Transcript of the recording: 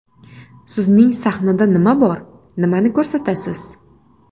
Sizning sahnada nima bor, nimani ko‘rsatasiz?